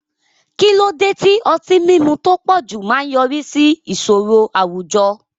Kí ló dé tí ọtí mímu tó pọ̀jù máa ń yọrí sí ìṣòro àwùjọ?